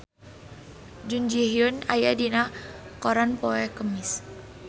Jun Ji Hyun aya dina koran poe Kemis